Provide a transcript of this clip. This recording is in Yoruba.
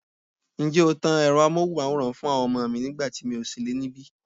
Ǹjẹ́ o tan Ẹ̀rọ amohunmaworan fún àwọn ọmọ mi nígbà tí mi ò sí nílé bí?